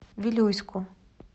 вилюйску